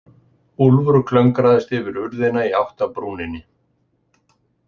Úlfur klöngraðist yfir urðina í átt að brúninni.